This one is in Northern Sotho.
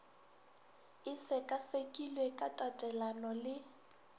e sekasekilwe ka tatelano le